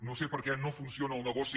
no sé perquè no funciona el negoci